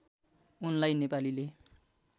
उनलाई नेपालीले